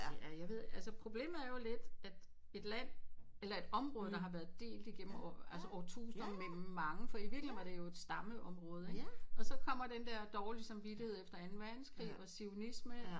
Ja jeg ved at altså problemet er jo lidt at et land eller et område der har været delt igennem år altså årtusinder mellem mange for i virkeligheden var det et stammeområde ikke og så kommer den der dårlige samvittighed efter anden verdenskrig og Zionisme